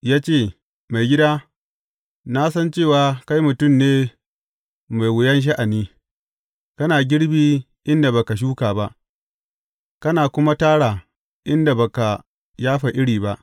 Ya ce, Maigida, na san cewa kai mutum ne mai wuyan sha’ani, kana girbi inda ba ka shuka ba, kana kuma tara inda ba ka yafa iri ba.